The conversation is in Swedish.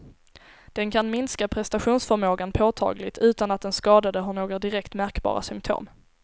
Den kan minska prestationsförmågan påtagligt, utan att den skadade har några direkt märkbara symptom.